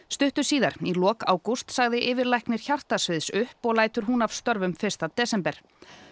stuttu síðar í lok ágúst sagði yfirlæknir upp og lætur hún af störfum fyrsta desember